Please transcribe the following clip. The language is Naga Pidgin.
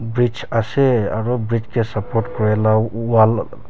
bridge ase aru bridge te support kori laga wall --